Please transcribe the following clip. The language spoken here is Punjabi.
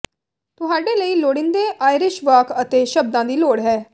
ਤੁਹਾਡੇ ਲਈ ਲੋੜੀਂਦੇ ਆਇਰਿਸ਼ ਵਾਕ ਅਤੇ ਸ਼ਬਦਾਂ ਦੀ ਲੋੜ ਹੈ